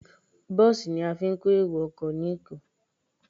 Bọ́ọ̀sì ni a fi ń kó èrò ọkọ ní Èkó.